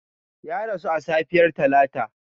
Ya rasu a safiyar Talata.